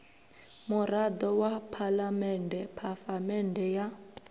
murado wa phalamende phafamende ya